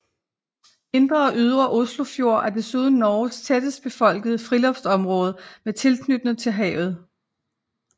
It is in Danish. Indre og Ydre Oslofjord er desuden Norges tættest befolkede friluftsområde med tilknytning til havet